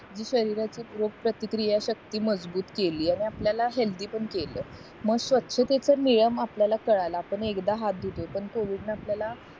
शरीराची रोगप्रतिक्रिया शक्ती मजबूत केली आणि आणि आपल्याला हेलधी पण केलं मग स्वच्छतेचा नियम आपल्याला कळाला आपण एकदा हाथ धुतो पण covid न आपल्याला